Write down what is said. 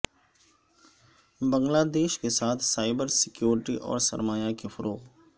بنگلہ دیش کے ساتھ سائبر سیکوریٹی اور سرمایہ کے فروغ